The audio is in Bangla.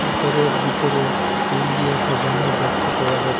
ঘরের বিতরে ফুল দিয়ে সাজানো দেখতে পাওয়া যা--